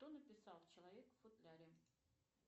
кто написал человек в футляре